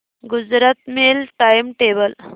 Gujarat mail time table